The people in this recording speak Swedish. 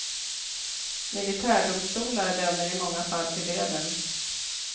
Miltärdomstolar dömer i många fall till döden.